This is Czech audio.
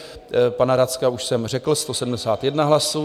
Pana Racka už jsem řekl - 171 hlasů.